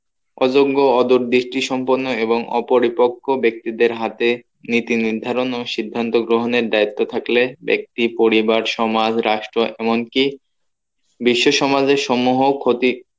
অযোগ্য ওদোর দৃষ্টি সম্পন্ন এবং অপরিপক্ষ ব্যক্তিদের হাতে নীতি নির্ধারণ ও সিদ্ধান্ত গ্রহণের দায়িত্ব থাকলে ব্যক্তি পরিবার সমাজ রাষ্ট্র এমন কী বিশ্ব সমাজের সমহ ক্ষতি